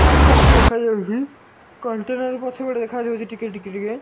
ଆକାଶ ଦେଖା ଆଉଚି କଣ୍ଟେନର ପଛ ପଟେ ଦେଖା ଯାଉଚି ଟିକେ ଟିକେ ଟିକେ।